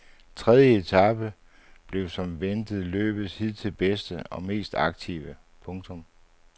Tredje etape blev som ventet løbets hidtil bedste og mest aktive. punktum